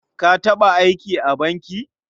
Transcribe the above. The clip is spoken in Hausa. Ka taɓa aiki a banki?